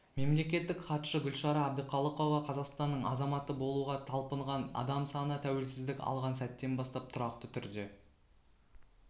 мемлекеттік хатшы гүлшара әбдіқалықова қазақстанның азаматы болуға талпынған адам саны тәуелсіздік алған сәттен бастап тұрақты түрде